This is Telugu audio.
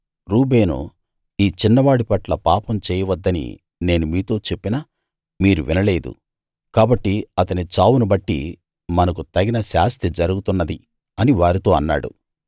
రూబేను ఈ చిన్నవాడి పట్ల పాపం చేయవద్దని నేను మీతో చెప్పినా మీరు వినలేదు కాబట్టి అతని చావును బట్టి మనకు తగిన శాస్తి జరుగుతున్నది అని వారితో అన్నాడు